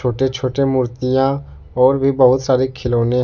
छोटे छोटे मूर्तियां और भी बहुत सारे खिलौने--